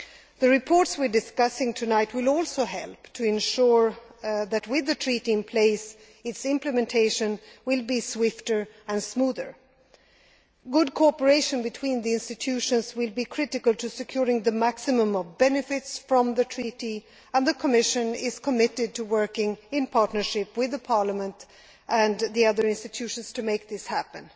The reports we are discussing tonight will also help to ensure that, with the Treaty in place, its implementation will be swifter and smoother. Good cooperation between the institutions will be critical in securing the maximum benefits from the Treaty, and the Commission is committed to working in partnership with Parliament and the other institutions to make this happen.